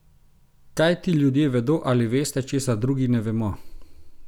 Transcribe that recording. Kaj ti ljudje vedo ali veste, česar drugi ne vemo?